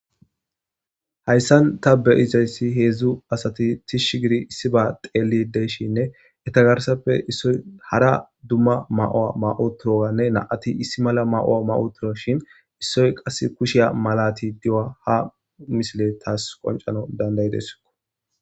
hayssan ta be'izayssi heedzdzu asati tish gidi issiba xeelid de'shinne eta garsappe issoy hara dumma ma'owa ma'i utiyoganne na'ati issi mala ma'owa ma'otuwashin issoy qass kushiya malati di'ua ha misiley taas qoncanaw dandayidesskko